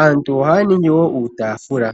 Aantu ohaya ningi wo uutaafula.